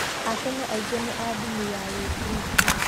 Akenya aingĩ nĩ a ndini ya gĩkristũ.